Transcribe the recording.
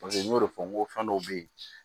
Paseke n y'o de fɔ n ko fɛn dɔw be ye